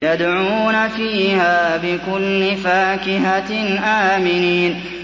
يَدْعُونَ فِيهَا بِكُلِّ فَاكِهَةٍ آمِنِينَ